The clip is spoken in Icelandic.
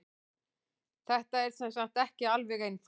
Þetta er sem sagt ekki alveg einfalt.